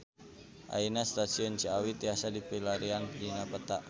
Ayeuna Stasiun Ciawi tiasa dipilarian dina peta